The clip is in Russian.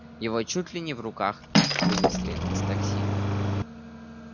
его чуть ли не в руках вынесли из такси